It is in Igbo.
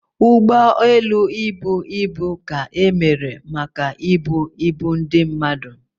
Ụgbọ elu ibu ka emere maka ibu ibu ndị mmadụ